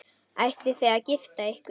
Ætlið þið að gifta ykkur?